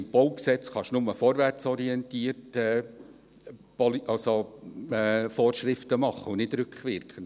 Im BauG kann man nur vorwärtsorientiert Vorschriften machen, nicht rückwirkend.